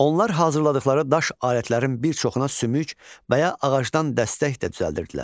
Onlar hazırladıqları daş alətlərin bir çoxuna sümük və ya ağacdan dəstək də düzəldirdilər.